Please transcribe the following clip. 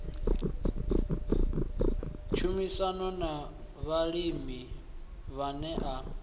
tshumisano na vhalimi vhane a